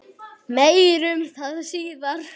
Meir um það síðar.